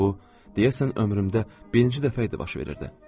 Bu, deyəsən ömrümdə birinci dəfə idi baş verirdi.